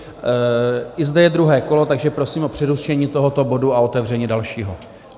I zde je druhé kolo, takže prosím o přerušení tohoto bodu a otevření dalšího.